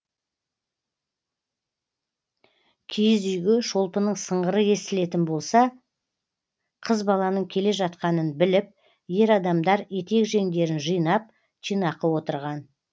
киіз үйге шолпының сыңғыры естілетін болса қыз баланың кележатқанын біліп ер адамдар етек жеңдерін жинап жинақы отырған